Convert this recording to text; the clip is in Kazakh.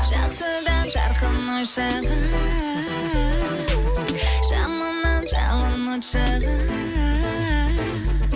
жақсыдан жарқын ой шығар жаманнан жалын от шығар